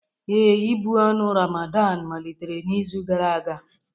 Ee, ị̀bụ ọnụ Ramadan malitere n'izu gara aga.